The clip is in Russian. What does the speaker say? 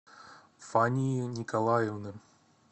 фании николаевны